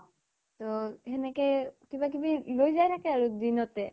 ত সেনেকে কিবা কিবি লৈ যাই থাকে আৰু দিনতে।